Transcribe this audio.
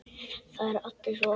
Það eru allir svo opnir.